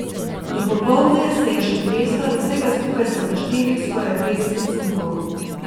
Do popoldne se je še treslo in vsega skupaj so našteli skoraj petdeset sunkov.